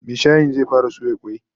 Mai shayin zai fara soya kwai